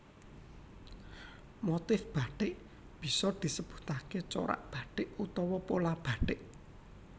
Motif Bathik bisa disebutake corak bathik utawa pola bathik